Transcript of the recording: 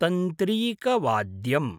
तन्त्रीकवाद्यम्